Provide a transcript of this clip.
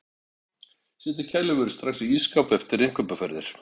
Setja kælivörur strax í ísskáp eftir innkaupaferðir.